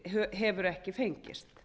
hefur ekki fengist